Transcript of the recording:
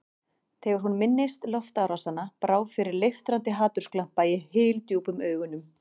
Þegar hún minntist loftárásanna brá fyrir leiftrandi hatursglampa í hyldjúpum augunum.